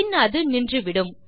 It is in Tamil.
பின் அது நின்றுவிடும்